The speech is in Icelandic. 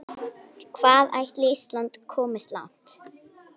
Hvað ætli Ísland komist langt?